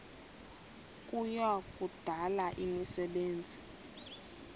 kuya kudala imisebenzi